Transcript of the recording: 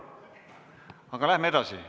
Aga läheme edasi.